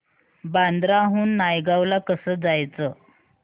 बांद्रा हून नायगाव ला कसं जायचं